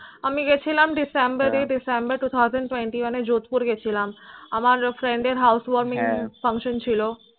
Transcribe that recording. আমি গেছিলাম December December two thousand twenty one আমি Jodhpur গিয়েছিলাম আমার friend এর housewarming function ছিল হ্য়াঁ